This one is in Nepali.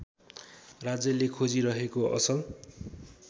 राज्यले खोजिरहेको असल